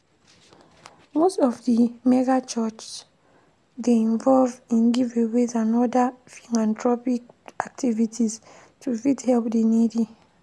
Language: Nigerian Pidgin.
Most of the megachurchs dey involve in giveaways and other philanthropic activities to fit help di needy